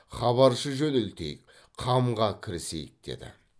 хабаршы жөнелтейік қамға кірісейік деді